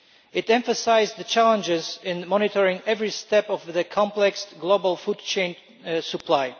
It emphasised the challenges in monitoring every step of the complex global food chain supply.